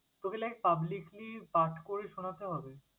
তোকে like publicly পাঠ করে শুনাতে হবে?